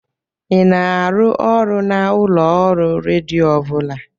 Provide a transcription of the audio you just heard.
Ị na-arụ ọrụ na ulooru redio ọ bụla?